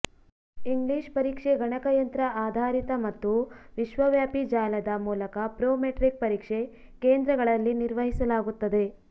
English ಪರೀಕ್ಷೆ ಗಣಕಯಂತ್ರ ಆಧಾರಿತ ಮತ್ತು ವಿಶ್ವವ್ಯಾಪಿ ಜಾಲದ ಮೂಲಕ ಪ್ರೊಮೆಟ್ರಿಕ್ ಪರೀಕ್ಷೆ ಕೇಂದ್ರಗಳಲ್ಲಿ ನಿರ್ವಹಿಸಲಾಗುತ್ತದೆ